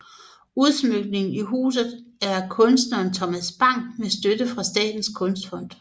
Udsmykningen i huset er af kunstneren Thomas Bang med støtte fra statens kunstfond